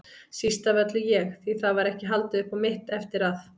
Síst af öllu ég, því það var ekki haldið upp á mitt eftir að